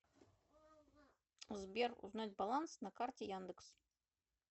сбер узнать баланс на карте яндекс